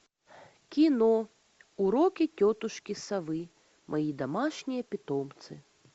кино уроки тетушки совы мои домашние питомцы